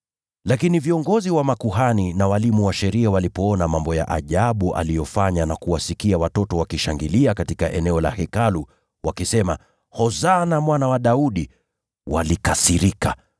Lakini viongozi wa makuhani na walimu wa sheria walipoona mambo ya ajabu aliyofanya na kuwasikia watoto wakishangilia katika eneo la Hekalu wakisema, “Hosana Mwana wa Daudi,” walikasirika.